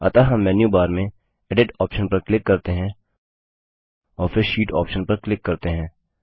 अतः हम menu bar में एडिट ऑप्शन पर क्लिक करते हैं और फिर शीट ऑप्शन पर क्लिक करते हैं